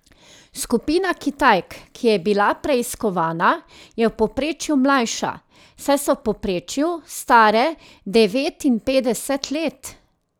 Skupina Kitajk, ki je bila preiskovana, je v povprečju mlajša, saj so v povprečju stare devetinpetdeset let.